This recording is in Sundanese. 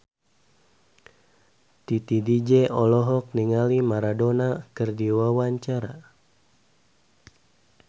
Titi DJ olohok ningali Maradona keur diwawancara